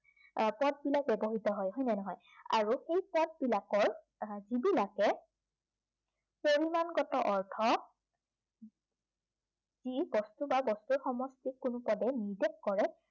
আহ পদবিলাক ব্য়ৱহৃত হয়, হয়নে নহয়? আৰু সেই পদবিলাকৰ আহ যিবিলাকে পৰিমাণগত অৰ্থ ই বস্তু বা বস্তুৰ সমষ্টিক কোনো পদে নিৰ্দেশ কৰে